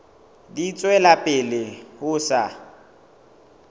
di tswela pele ho sa